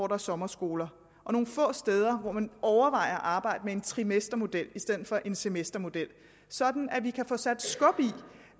er sommerskoler og nogle få steder hvor man overvejer at arbejde med en trimestermodel i stedet for en semestermodel sådan at vi kan få sat skub i